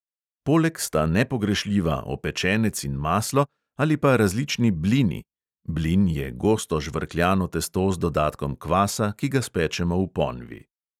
Poleg sta nepogrešljiva opečenec in maslo ali pa različni blini (blin je gosto žvrkljano testo z dodatkom kvasa, ki ga spečemo v ponvi).